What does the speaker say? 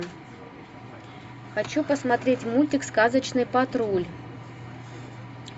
хочу посмотреть мультик сказочный патруль